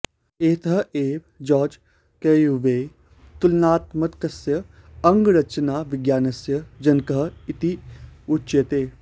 अतः एव George Cuvier तुलनात्मकस्य अङ्गरचनाविज्ञानस्य जनकः इति उच्यते